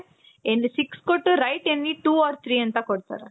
any six ಕೊಟ್ಟು write any two or three ಅಂತ ಕೊಡ್ತಾರೆ.